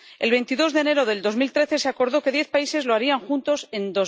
El 22 de enero de 2013 se acordó que diez países lo harían juntos en